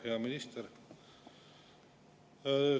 Hea minister!